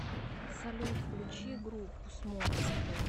салют включи группу смок эсбэ